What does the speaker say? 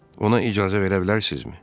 Ona icazə verə bilərsinizmi?